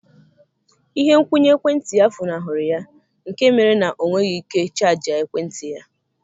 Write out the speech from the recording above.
Ihe nkwụnye ekwentị ya funahụrụ ya, nke mere na ọ nweghị ike chajịa ekwentị ya.